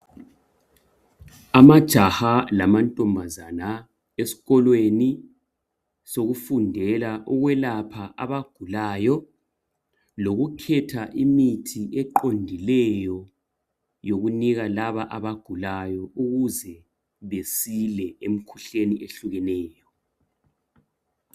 amajaha lamantombazana esikolweni sokufundela ukwelapha abagulayo lokukhetha imithi eqondileyo yokunika laba abagulayo ukuze besile emkhuhlaneni ehlukeneyo